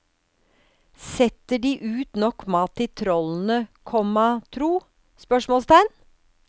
Setter de ut nok mat til trollene, komma tro? spørsmålstegn